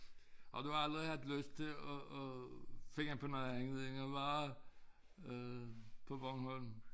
Oh du har aldrig haft lyst til at at finde på noget andet end at være øh på Bornholm?